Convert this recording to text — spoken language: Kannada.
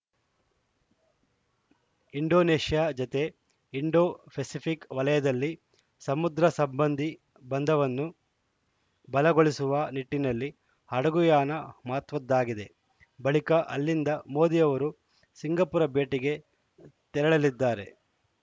ಇಂಡೋನೇಷ್ಯಾ ಜತೆ ಇಂಡೋಪೆಸಿಫಕ್‌ ವಲಯದಲ್ಲಿ ಸಮುದ್ರ ಸಂಬಂಧೀ ಬಂಧವನ್ನು ಬಲಗೊಳಿಸುವ ನಿಟ್ಟಿನಲ್ಲಿ ಹಡಗುಯಾನ ಮಹತ್ವದ್ದಾಗಿದೆ ಬಳಿಕ ಅಲ್ಲಿಂದ ಮೋದಿ ಅವರು ಸಿಂಗಾಪುರ ಭೇಟಿಗೆ ತೆರಳಲಿದ್ದಾರೆ